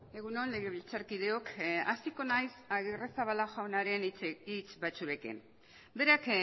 egun on legebiltzarkideok hasiko naiz agirrezabala jaunaren hitz batzuekin berak